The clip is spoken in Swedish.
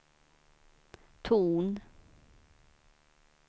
ton